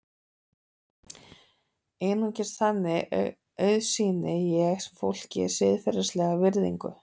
Einungis þannig auðsýni ég fólki siðferðilega virðingu.